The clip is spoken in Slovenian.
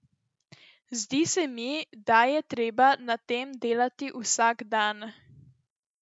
Zdi se mi, da je treba na tem delati vsak dan.